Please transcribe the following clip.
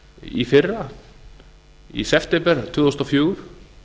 í fyrra í september tvö þúsund og fjögur